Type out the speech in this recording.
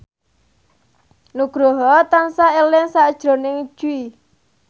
Nugroho tansah eling sakjroning Jui